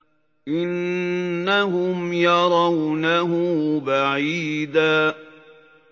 إِنَّهُمْ يَرَوْنَهُ بَعِيدًا